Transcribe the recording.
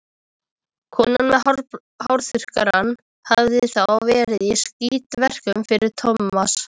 Konan með hárþurrkuna hafði þá verið í skítverkum fyrir Tómas.